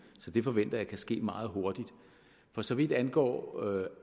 så det forventer jeg kan ske meget hurtigt for så vidt angår